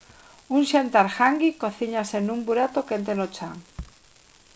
un xantar «hangi» cocíñase nun burato quente no chan